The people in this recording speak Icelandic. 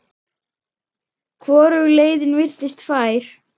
Hvorug leiðin virtist fær.